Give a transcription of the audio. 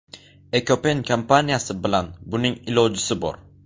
Ekopen kompaniyasi bilan buning ilojisi bor.